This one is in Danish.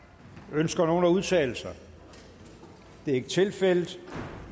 ønsker nogen at udtale sig det er ikke tilfældet